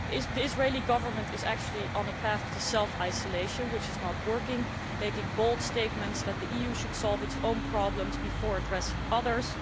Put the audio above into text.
The Israeli Government is actually on a path to self isolation which is not working, making bold statements that the EU should solve its own problems before addressing others.